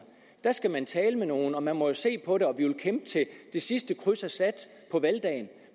der skal man tale med nogen og man må jo se på det vil kæmpe til det sidste kryds er sat på valgdagen